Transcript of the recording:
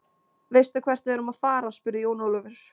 Veistu hvert við erum að fara, spurði Jón Ólafur.